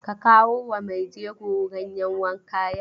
Ka kawo wa maijego ganyen wanka yau!